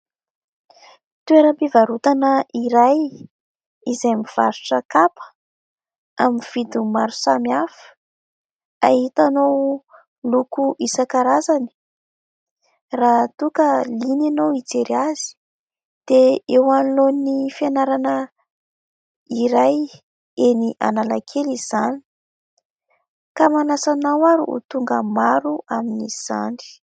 Toeram-pivarotana iray, izay mivarotra kapa amin'ny vidiny maro samy hafa, ahitanao loko isan-karazany. Raha toa ka liana ianao hijery azy, dia eo anoloan'ny fianarana iray eny analakely izany, koa manàsa anao ary ho tonga maro amin'izany.